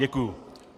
Děkuju.